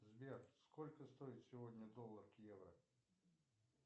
сбер сколько стоит сегодня доллар к евро